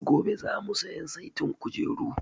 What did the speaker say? Gobe za mu siyan saitin kujeru